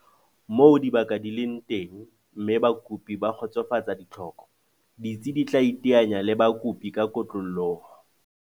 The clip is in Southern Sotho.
Moo dibaka di leng teng mme bakopi ba kgotsofatsa ditlhoko, ditsi di tla iteanya le bakopi ka kotloloho.